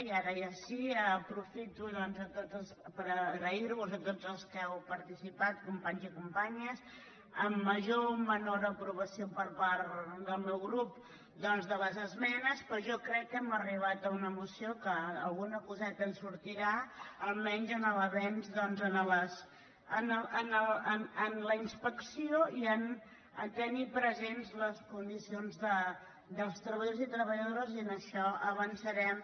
i ara ja sí que aprofito doncs per agrair·vos a tots els que heu participat companys i companyes amb major o menor aprovació per part del meu grup de les esmenes però jo crec que hem arribat a una moció que alguna coseta en sortirà almenys en l’avenç en la inspecció i a tenir presents les condicions dels treballadors i treballadores i en això avançarem